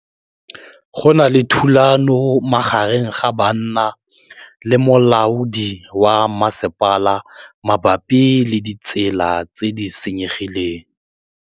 Go na le thulanô magareng ga banna le molaodi wa masepala mabapi le ditsela tse di senyegileng.